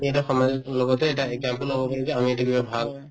আমি এটা সমাজ লগতে এটা example হব পাৰো যে আমি এইটো কিবা ভাল